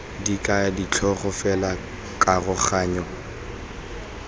di kaya ditlhogo fela dikaroganyo